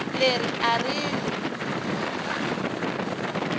leri a ri n wi